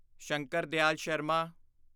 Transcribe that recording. Shankar Dayal Sharma